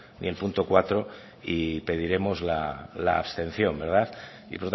ni el punto cuatro y pediremos la abstención y